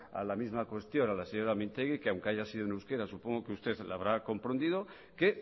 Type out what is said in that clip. a la misma cuestión a la señora mintegi que aunque haya sido en euskera supongo que usted la habrá comprendido que